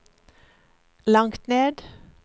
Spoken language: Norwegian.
langt ned